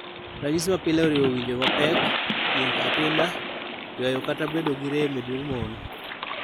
Ranyisi mapile oriwo winjo pek, yieng atinda, ywayo kata bedo gi rem e duong' mon.